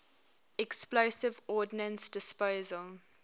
explosive ordnance disposal